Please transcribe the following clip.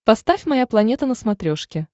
поставь моя планета на смотрешке